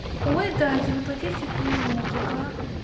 ой да типа почистить ты не мог ага